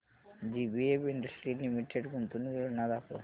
JBF industries limited गुंतवणूक योजना दाखव